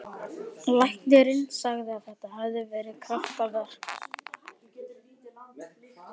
Læknirinn sagði að það hefði verið kraftaverk.